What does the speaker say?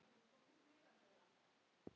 Þau áttu þá fimm börn.